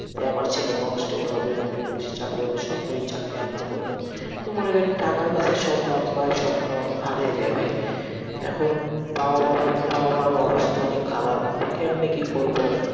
তাই আমার ছেলে constable হবে মানে police চাকরি পাবে, সরকারি চাকরি আমরা করবো, তো মনে করেন টাকার কাছে সব বাপ মা এর স্বপ্ন হারে রে ভাই, এখন বাবা মার ও অবস্থা অনেক খারাপ, কেমনে কি করবো,